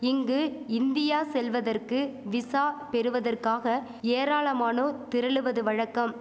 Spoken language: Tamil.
இங்கு இந்தியா செல்வதற்கு விசா பெறுவதற்காக ஏராளமானோர் திரளுவது வழக்கம்